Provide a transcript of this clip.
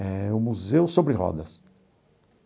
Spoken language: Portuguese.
É o Museu Sobre Rodas.